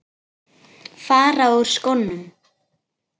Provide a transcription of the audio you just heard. Fara úr skónum.